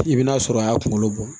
I bi n'a sɔrɔ a y'a kunkolo bɔ